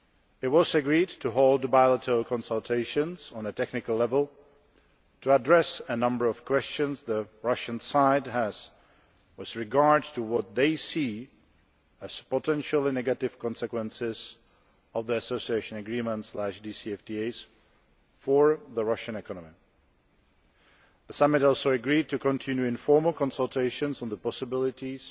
It was agreed to hold bilateral consultations on a technical level to address a number of questions the Russian side has with regard to what they see as potentially negative consequences of the association agreements DCFTAs for the Russian economy. The summit also agreed to continue informal consultations on the possibilities